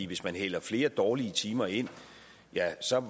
hvis man hælder flere dårlige timer ind